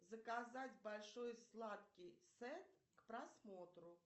заказать большой сладкий сет к просмотру